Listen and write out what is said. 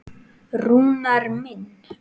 Rúnar minn.